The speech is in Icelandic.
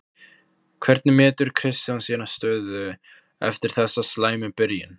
Hvernig metur Kristján sína stöðu eftir þessa slæmu byrjun?